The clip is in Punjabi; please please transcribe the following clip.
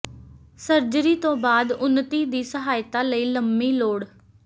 ਸਰਜਰੀ ਤੋਂ ਬਾਅਦ ਉੱਨਤੀ ਦੀ ਸਹਾਇਤਾ ਲਈ ਲੰਮੀ ਲੋੜ